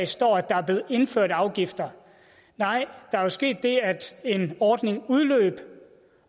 står at der er blevet indført afgifter nej der er sket det at en ordning udløb